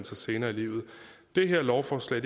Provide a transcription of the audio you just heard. sig senere i livet det her lovforslag